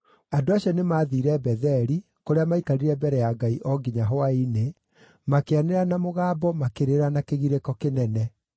Andũ acio nĩmathiire Betheli, kũrĩa maikarire mbere ya Ngai o nginya hwaĩ-inĩ, makĩanĩrĩra na mũgambo makĩrĩra na kĩgirĩko kĩnene.